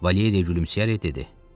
Valeriya gülümsəyərək dedi: